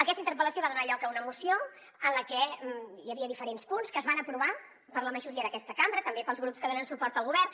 aquesta interpel·lació va donar lloc a una moció en la que hi havia diferents punts que es van aprovar per la majoria d’aquesta cambra també pels grups que donen suport al govern